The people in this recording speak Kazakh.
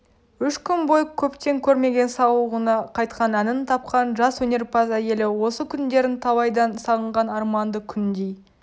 үш күн бойы көптен көрмеген сауығына қайтқан әнін тапқан жас өнерпаз әйелі осы күндерін талайдан сағынған арманды күндей